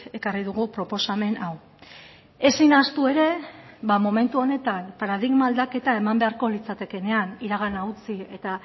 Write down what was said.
ekarri dugu proposamen hau ezin ahaztu ere ba momentu honetan paradigma aldaketa eman beharko litzatekeenean iragana utzi eta